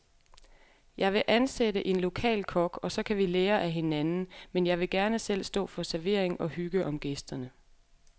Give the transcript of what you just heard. Jeg vil ansætte en lokal kok, og så kan vi lære af hinanden, men jeg vil gerne selv stå for servering og hygge om gæsterne.